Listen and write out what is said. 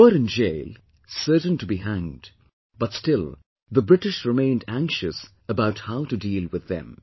They were in jail, certain to be hanged, but still the British remained anxious about how to deal with them